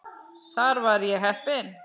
Þar var ég heppinn